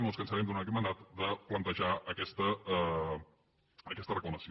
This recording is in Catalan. no ens cansarem durant aquest mandat de plantejar aquesta reclamació